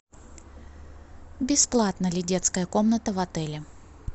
бесплатна ли детская комната в отеле